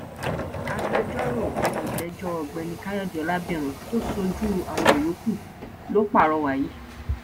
agbẹjọrò olójẹjọ ọgbẹni káyọdé ọlábírán tó ṣojú àwọn yòókù ló pàrọwà yìí